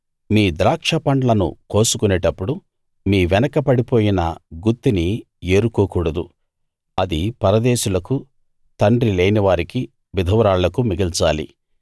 మీ ద్రాక్షపండ్లను కోసుకొనేటప్పుడు మీ వెనకపడిపోయిన గుత్తిని ఏరుకోకూడదు అది పరదేశులకు తండ్రి లేనివారికీ విధవరాళ్లకూ మిగల్చాలి